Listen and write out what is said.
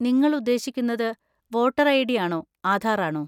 നിങ്ങൾ ഉദ്ദേശിക്കുന്നത് voter ID. ആണോ ആധാർ ആണോ?